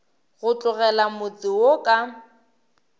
go tlogela motse wo ka